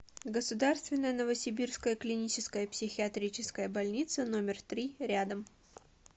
государственная новосибирская клиническая психиатрическая больница номер три рядом